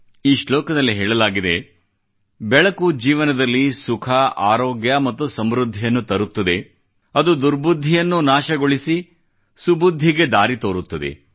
ಈ ಶ್ಲೋಕದಲ್ಲಿ ಹೇಳಲಾಗಿದೆ ಬೆಳಕು ಜೀವನದಲ್ಲಿ ಸುಖ ಆರೋಗ್ಯ ಮತ್ತು ಸಮೃದ್ಧಿಯನ್ನು ತರುತ್ತದೆ ಅದು ದುರ್ಬುದ್ಧಿಯನ್ನು ನಾಶಗೊಳಿಸಿ ಸುಬುದ್ಧಿಗೆ ದಾರಿ ತೋರುತ್ತದೆ